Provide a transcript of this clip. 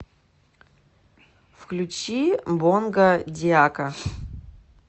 включи бонга диака